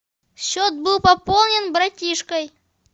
счет был пополнен братишкой